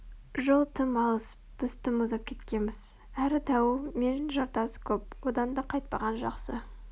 жол тым алыс біз тым ұзап кеткеміз әрі дауыл мен жартас көп одан да қайтпаған жақсы